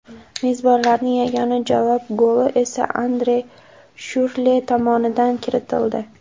Mezbonlarning yagona javob goli esa Andre Shyurrle tomonidan kiritildi.